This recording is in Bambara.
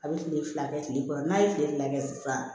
A bɛ tile fila kɛ tile kɔrɔ n'a ye tile fila kɛ sisan